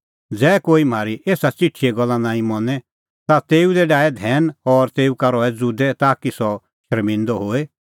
ज़ै कोई म्हारी एसा च़िठीए गल्ला नांईं मनें ता तेऊ दी डाहै धैन और तेऊ का रहा ज़ुदै ताकि सह शर्मिंदअ होए